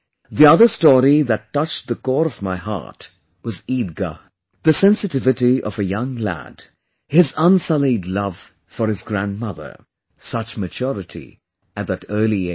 The other story that touched the core of my heart was 'Eidgah'... the sensitivity of a young lad, his unsullied love for his grandmother, such maturity at that early age